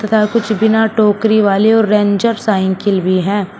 यहां कुछ बिना टोकरी वाली और रेंजर साइकिल भी हैं।